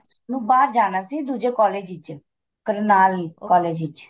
ਉਹਨੇ ਬਾਹਰ ਜਾਣਾ ਸੀ ਦੂਜੇ college ਵਿੱਚ ਕਰਨਾਲ college ਵਿੱਚ